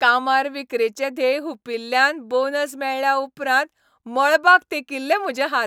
कामार विक्रेचें ध्येय हुंपिल्ल्यान बोनस मेळ्ळ्या उपरांत मळबाक तेंकिल्ले म्हजे हात.